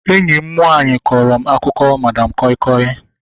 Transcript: Enyi m nwaanyị kọrọ m akụkọ madam koi koi